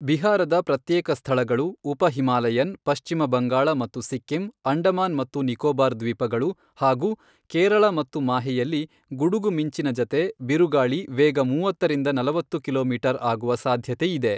ಬಿಹಾರದ ಪ್ರತ್ಯೇಕ ಸ್ಥಳಗಳು, ಉಪ ಹಿಮಾಲಯನ್, ಪಶ್ಚಿಮ ಬಂಗಾಳ ಮತ್ತು ಸಿಕ್ಕಿಂ, ಅಂಡಮಾನ್ ಮತ್ತು ನಿಕೋಬಾರ್ ದ್ವೀಪಗಳು ಹಾಗೂ ಕೇರಳ ಮತ್ತು ಮಾಹೆಯಲ್ಲಿ ಗುಡುಗು ಮಿಂಚಿನ ಜತೆ ಬಿರುಗಾಳಿ ವೇಗ ಮೂವತ್ತರಿಂದ ನಲವತ್ತು ಕಿಲೋಮೀಟರ್ ಆಗುವ ಸಾಧ್ಯತೆ ಇದೆ.